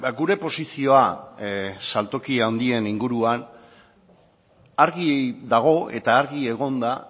gure posizioa saltoki handien inguruan argi dago eta argi egon da